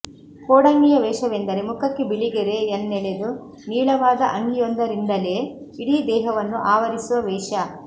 ಕೋಡಂಗಿಯ ವೇಷವೆಂದರೆ ಮುಖಕ್ಕೆ ಬಿಳಿಗೆರೆ ಯನ್ನೆಳೆದು ನೀಳವಾದ ಅಂಗಿಯೊಂದರಿಂದಲೇ ಇಡೀ ದೇಹವನ್ನು ಆವರಿಸುವ ವೇಷ